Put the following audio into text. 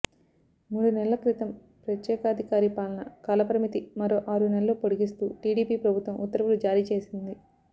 మూడు నెలల క్రితం ప్రత్యేకాధికారి పాలన కాలపరిమితి మరో ఆరు నెలలు పొడిగిస్తూ టీడీపీ ప్రభుత్వం ఉత్తర్వులు జారీ చేసేసింది